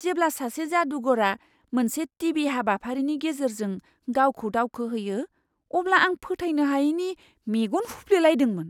जेब्ला सासे जादुगरा मोनसे टि.भि. हाबाफारिनि गेजेरजों गावखौ दावखोहोयो, अब्ला आं फोथायनो हायैनि मेगन हुफ्लेलायदोंमोन!